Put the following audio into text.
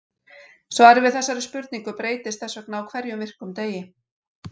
Svarið við þessari spurning breytist þess vegna á hverjum virkum degi.